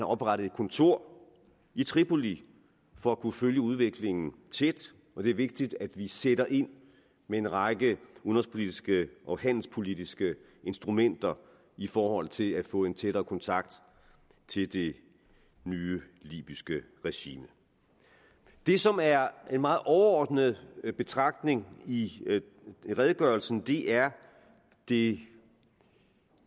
oprettet et kontor i tripoli for at kunne følge udviklingen tæt og det er vigtigt at vi sætter ind med en række udenrigspolitiske og handelspolitiske instrumenter i forhold til at få en tættere kontakt til det nye libyske regime det som er en meget overordnet betragtning i redegørelsen er det